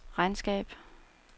regnskab